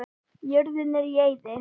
Jörðin er í eyði.